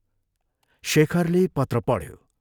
" शेखरले पत्र पढ्यो।